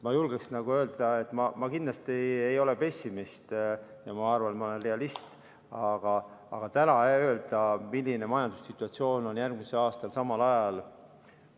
Ma julgeksin öelda, et ma kindlasti ei ole pessimist ja ma arvan, et ma olen realist, aga täna öelda, milline majandussituatsioon on järgmisel aastal samal ajal, ei saa.